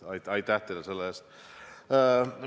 Aitäh teile selle eest!